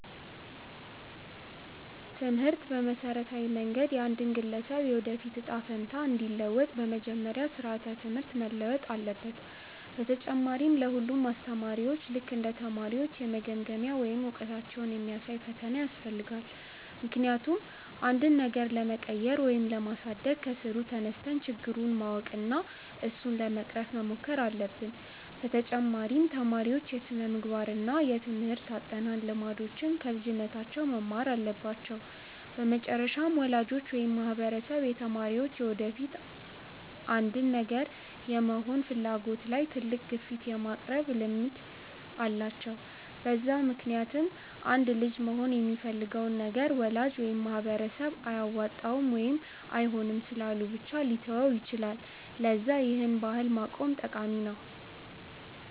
ትምህርት በመሠረታዊ መንገድ የአንድን ግለሰብ የወደፊት እጣ ፈንታ እንዲለውጥ፤ በመጀመሪያ ስራዓተ ትምህርት መለወጥ አለበት፣ በተጨማሪ ለ ሁሉም አስተማሪዎች ልክ እንደ ተማሪዎች የመገምገሚያ ወይም እውቀታቸውን የሚያሳይ ፈተና ያስፈልጋል፤ ምክንያቱም አንድን ነገር ለመቀየር ወይም ለማሳደግ ከስሩ ተነስተን ችግሩን ማወቅ እና እሱን ለመቅረፍ መሞከር አለብን፤ በተጨማሪ ተማሪዎች የስነምግባር እና የትምርህት አጠናን ልምዶችን ከልጅነታቸው መማር አለባቸው፤ በመጨረሻም ወላጆች ወይም ማህበረሰብ የተማሪዎች የወደፊት አንድን ነገር የመሆን ፍላጎት ላይ ትልቅ ግፊት የማቅረብ ልምድ አላቸው፤ በዛ ምክንያትም አንድ ልጅ መሆን የሚፈልገውን ነገር ወላጅ ወይም ማህበረሰብ አያዋጣም ወይም አይሆንም ስላሉ ብቻ ሊተወው ይችላል፤ ለዛ ይህን ባህል ማቆም ጠቃሚ ነው።